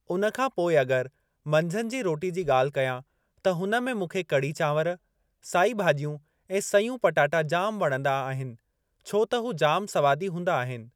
उन खां पोइ अगरि मंझंद जी रोटी जी ॻाल्हि कयां त हुन में मूंखे कड़ी चांवर, साइ भाॼियूं ऐं सयूं पटाटा जाम वणंदा आहिनि छो त हू जाम स्वादी हूंदा आहिनि।